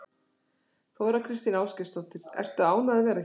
Þóra Kristín Ásgeirsdóttir: Ertu ánægð að vera hér?